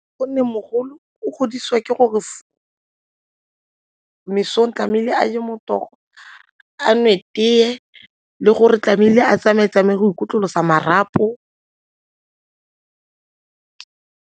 Gonne mogolo o godisiwa ke gore mesong tlamehile a je motogo, a nwe tee le gore tlamehile a tsamaye-tsamaye go ikotlolosa marapo.